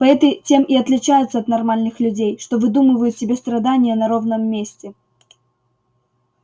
поэты тем и отличаются от нормальных людей что выдумывают себе страдания на ровном месте